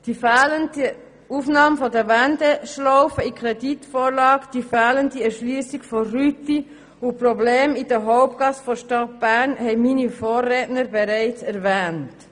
Die fehlende Aufnahme der Wendeschlaufe in die Kreditvorlage, die fehlende Erschliessung der Rüti sowie die Probleme in der Hauptgasse der Stadt Bern haben meine Vorredner bieten bei bereits erwähnt.